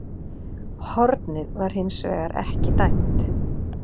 Hornið var hins vegar ekki dæmt